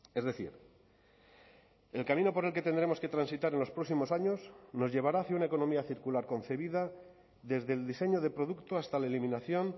es decir el camino por el que tendremos que transitar en los próximos años nos llevará hacia una economía circular concebida desde el diseño de producto hasta la eliminación